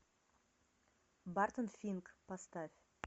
бартон финк поставь